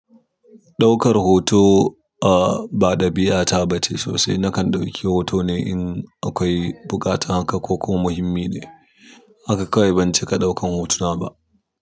Ɗaukar hoto a ba ɗabi'ata ba ce sosai. Nakan ɗauki hoto ne in akwai buƙata haka ko ko muhimmi ne. Haka kawai ban cika ɗaukan hotuna ba.